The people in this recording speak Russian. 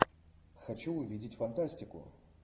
хочу увидеть фантастику